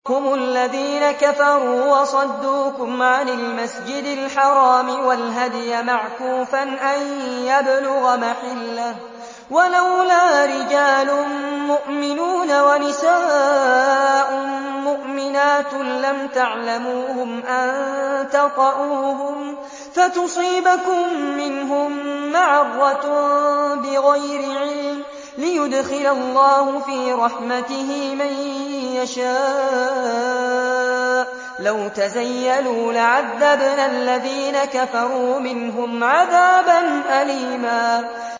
هُمُ الَّذِينَ كَفَرُوا وَصَدُّوكُمْ عَنِ الْمَسْجِدِ الْحَرَامِ وَالْهَدْيَ مَعْكُوفًا أَن يَبْلُغَ مَحِلَّهُ ۚ وَلَوْلَا رِجَالٌ مُّؤْمِنُونَ وَنِسَاءٌ مُّؤْمِنَاتٌ لَّمْ تَعْلَمُوهُمْ أَن تَطَئُوهُمْ فَتُصِيبَكُم مِّنْهُم مَّعَرَّةٌ بِغَيْرِ عِلْمٍ ۖ لِّيُدْخِلَ اللَّهُ فِي رَحْمَتِهِ مَن يَشَاءُ ۚ لَوْ تَزَيَّلُوا لَعَذَّبْنَا الَّذِينَ كَفَرُوا مِنْهُمْ عَذَابًا أَلِيمًا